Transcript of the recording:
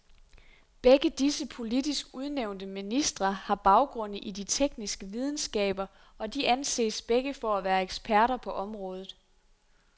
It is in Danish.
Begge disse politisk udnævnte ministre har baggrunde i de tekniske videnskaber, og de anses begge for at være eksperter på området.